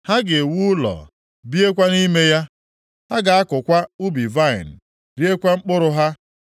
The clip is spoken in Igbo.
Ha ga-ewu ụlọ, biekwa nʼime ya; ha ga-akụkwa ubi vaịnị, riekwa mkpụrụ ha.